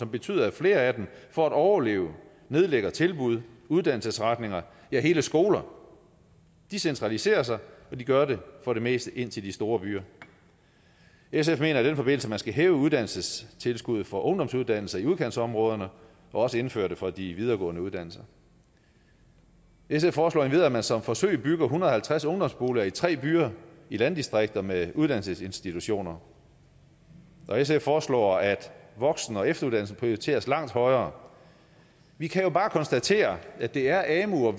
betyder at flere af dem for at overleve nedlægger tilbud og uddannelsesretninger ja hele skoler de centraliserer sig og de gør det for det meste i de store byer sf mener i den forbindelse at man skal hæve uddannelsestilskuddet for ungdomsuddannelser i udkantsområderne og også indføre det for de videregående uddannelser sf foreslår endvidere at man som forsøg bygger en hundrede og halvtreds ungdomsboliger i tre byer i landdistrikter med uddannelsesinstitutioner og sf foreslår at voksen og efteruddannelsen prioriteres langt højere vi kan jo bare konstatere at det er amu og